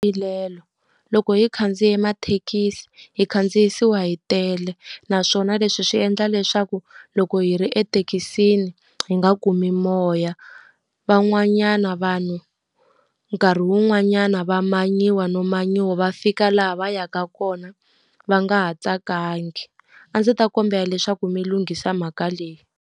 Loko hi khandziye mathekisi, hi khandziyisiwa hi tele. Naswona leswi swi endla leswaku loko hi ri ethekisini hi nga kumi moya. Van'wanyana vanhu nkarhi wun'wanyana va manyiwa no manyiwa, va fika laha va yaka kona va nga ha tsakangi. A ndzi ta kombela leswaku mi lunghisa mhaka leyi.